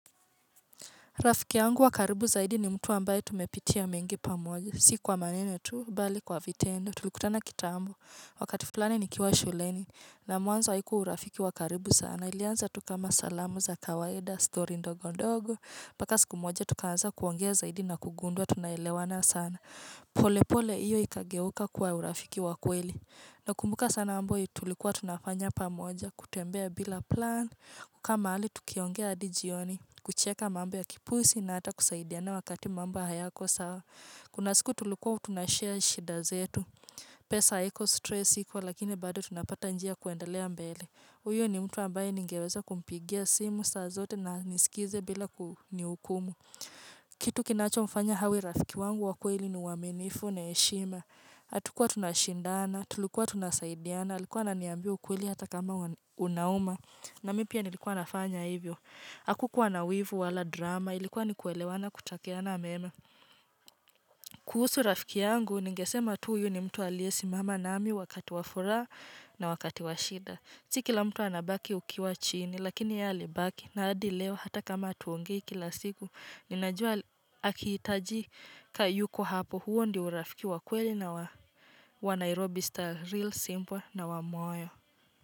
Rafiki wangu wakaribu zaidi ni mtu ambaye tumepitia mengi pamoja. Sikuwa maneno tu, bali kwa vitendo. Tulikutana kitaambo. Wakati flani nikiwa shuleni. Na muanzo haikuwa urafiki wankaribu sana. Ilianza tu kama salamu za kawaida, stori ndogondogo. Paka siku moja tukaanza kuongea zaidi na kugundua, tunaelewana sana. Pole pole, iyo ikageuka kuwa urafiki wakweli. Nakumbuka sana mmbo yenye tulikuwa tunafanya pamoja. Kutembea bila plan. Kukaa mahali, tukiongea adijioni. Kucheka mambo ya kipuzi na hata kusaidiana wakati mambo hayako sawa Kuna siku tulikuwa tunashare shida zetu pesa haiko stress ikwa lakini bado tunapata njia kuendelea mbele Uyo ni mtu ambaye ningeweza kumpigia simu saa zote na anisikize bila kunihukumu kitu kinacho mfanya awe rafiki wangu wakweli ni uaminifu na heshima hatukua tunashindana, tulikuwa tunasaidiana Alikuwa ananiambia ukweli hata kama unauma na mimi pia nilikuwa nafanya hivyo Akukuwa na wivu wala drama ilikuwa ni kuelewana kutakiana na meme kuhusu rafiki yangu ningesema tu huyu ni mtu aliye simama nami wakati wa furaha na wakati wa shida Si kila mtu anabaki ukiwa chini lakini yeye alibaki na adil lewa hata kama tuongei kila siku Ninajua akitaji kayuko hapo huo ndi urafikiwa kweli na wanairobi star real simple na wa moyo.